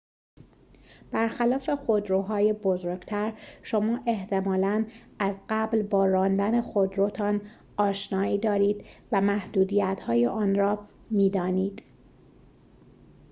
برخلاف خودروهای بزرگتر شما احتمالاً از قبل با راندن خودروتان آشنایی دارید و محدودیت‌های آن را می‌دانید